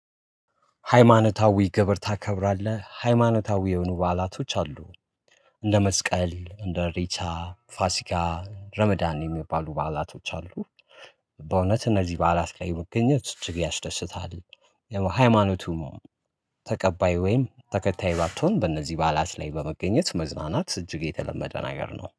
ሃይማኖታዊ ግብር ታከብራለህ ሃይማኖታዊ የሆኑ በዓላቶች አሉ። እንደ መስቀል እንደ ኢሬቻ ፋሲካ ረመዳን የሚባሉ በዓላቶች አሉ። በእውነት እነዚህ በዓላት ላይ መገኘት እጅግ ያስደስታል። የሆነ ሃይማታዊ መሆኑ ተቀባይ ወይም ተከታይ ባትሆን በእነዚህ በዓላት ላይ በመገኘት መዝናናት እጅግ የተለመደን ነገር ነው